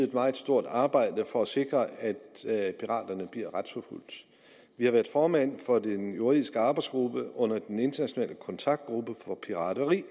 et meget stort arbejde for at sikre at at piraterne bliver retsforfulgt vi har været formand for den juridiske arbejdsgruppe under den internationale kontaktgruppe om pirateri